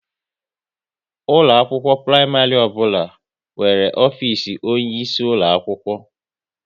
Ụlọ akwụkwọ praịmarị ọbụla nwere ofisi onye isi ulo akwụkwọ